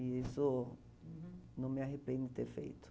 E isso uhum não me arrependo de ter feito.